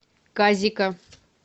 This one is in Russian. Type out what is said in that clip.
казика